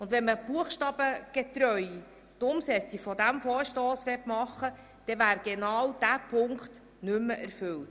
Wenn man diesen Vorstoss buchstabengetreu umsetzen würde, wäre genau dieser Punkt nicht mehr erfüllt.